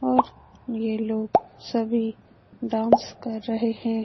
और ये लोग सभी डांस कर रहे है।